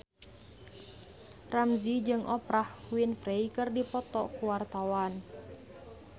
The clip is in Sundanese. Ramzy jeung Oprah Winfrey keur dipoto ku wartawan